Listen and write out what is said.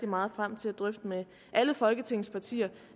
meget frem til at drøfte med alle folketingets partier